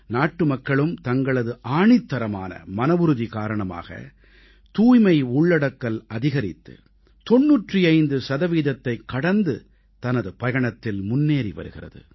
நாட்டுமக்களும் தங்களது ஆணித்தரமான மனவுறுதி காரணமாக தூய்மை உள்ளடக்கல் அதிகரித்து 95 சதவீதத்தைக் கடந்து தனது பயணத்தில் முன்னேறி வருகிறது